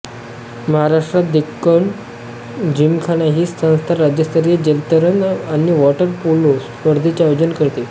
महाराष्ट्रात डेक्कन जिमखाना ही संस्था राज्यस्तरीय जलतरण आणि वॉटर पोलो स्पर्धेचे आयोजन करते